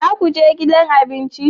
Za ku je gidan abinci?